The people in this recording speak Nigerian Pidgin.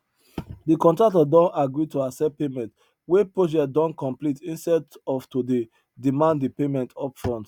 de contractor don agree to accept payment wen project don complete instead of to dey demand de payment upfront